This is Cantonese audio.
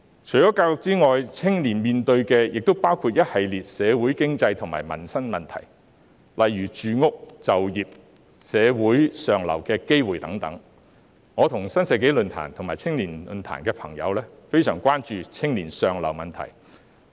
除了教育外，青年面對的亦包括一系列社會、經濟和民生問題，例如住屋、就業和社會向上流動機會等，我與新世紀論壇和新青年論壇的朋友均非常關注青年向上流動的問題。